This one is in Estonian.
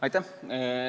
Aitäh!